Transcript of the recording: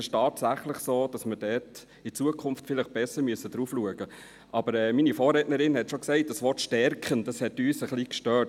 Es ist tatsächlich so, dass wir in Zukunft besser darauf schauen müssen, aber meine Vorrednerin hat es schon gesagt: Das Wort «stärken» hat uns ein bisschen gestört.